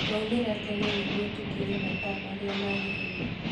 Twaumire tene nĩguo tũkinye mathaa marĩa magĩrĩire